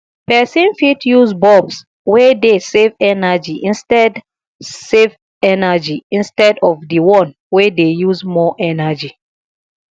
person fit use bulbs wey dey save energy instead save energy instead of di one wey dey use more energy